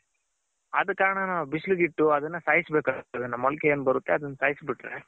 ಆದ ಕಾರಣ ನಾವ್ ಬಿಸಿಲ್ಗಿಟ್ ಅದನ್ನ ಸಾಯ್ಸ್ ಬೇಕ್ಅನ್ಸ್ತದೆ ಮೊಳಕೆ ಏನ್ ಬರುತ್ತೆ ಅದನ್ನ ಸಾಯ್ಸ್ ಬಿಟ್ರೆ.